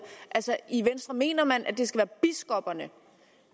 altså i venstre mener man at det skal være biskopperne